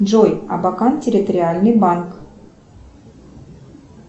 джой абакан территориальный банк